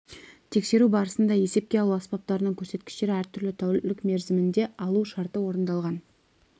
тексеру барысында есепке алу аспаптарының көрсеткіштері әртүрлі тәулік мерзімінде алу шарты орындалған